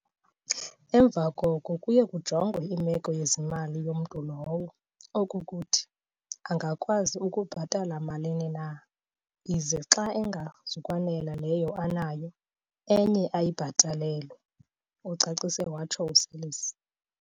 Emva koko kuye kujongwe imeko yezimali yomntu lowo, okokukuthi, angakwazi ukubhatala malini na, ize xa ingazukwanela leyo anayo, enye ayibhatalelwe," ucacise watsho uSeirlis.